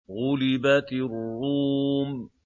غُلِبَتِ الرُّومُ